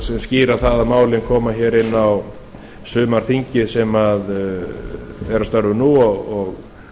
sem skýra að málin koma hér inn á sumarþingið sem er að störfum nú og